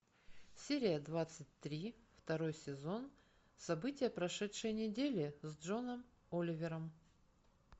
серия двадцать три второй сезон события прошедшей недели с джоном оливером